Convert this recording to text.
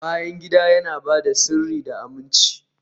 bayan gida yana ba da sirri da aminci